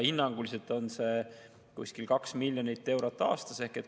Hinnanguliselt on see umbes 2 miljonit eurot aastas.